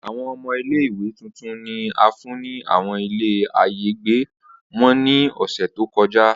Awọn ọmọ ile-iwe tuntun ni a fun ni awọn ilé àyágbe wọn ni ọsẹ to kọja.